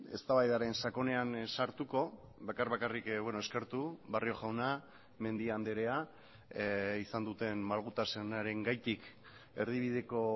eztabaidaren sakonean sartuko bakar bakarrik eskertu barrio jauna mendia andrea izan duten malgutasunarengatik erdibideko